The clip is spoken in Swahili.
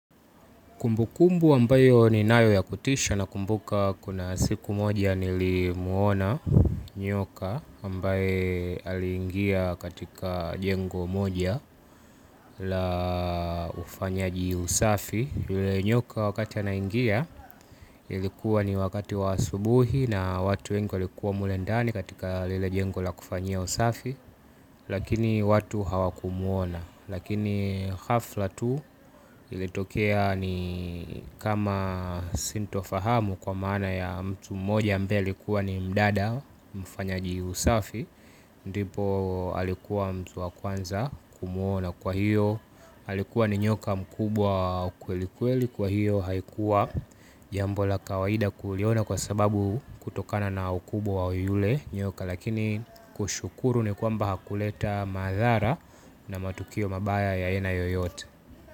Kumbukumbu ambayo ni nayo ya kutisha nakumbuka kuna siku moja ni li muona nyoka ambaye alingia katika jengo moja aaa ufanya ji usafi. Yule nyoka wakati ana ingia ilikuwa ni wakati wa asubuhi na watu wengi walikuwa mule ndani katika lile jengo la kufanyia usafi. Lakini watu hawakumuona. Lakini hafla tu ilitokea ni kama sintofahamu kwa maana ya mtu mmoja ambae alikuwa ni mdada mfanyaji usafi. Ndipo alikuwa mtu wakwanza kumuona kwa hiyo alikuwa ni nyoka mkubwa wa kweli kweli kwa hiyo haikuwa jambo la kawaida kuliona kwa sababu kutokana na ukubwa wa yule nyoka, lakini kushukuru ni kwamba hakuleta madhara na matukio mabaya ya aina yoyote.